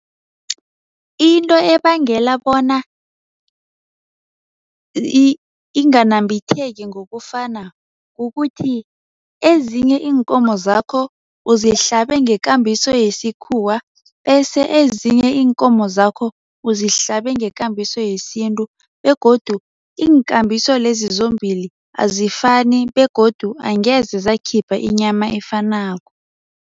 Into ebangela bona inganambitheki ngokufana kukuthi ezinye iinkomo zakho uzihlabe ngekambiso yesikhuwa bese ezinye iinkomo zakho uzihlabe ngekambiso yesintu begodu iinkambiso lezi zombili azifani begodu angeze zakhipha inyama efanako.